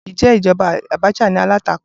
Ǹjẹ́ ìjọba Abacha ní alátakò?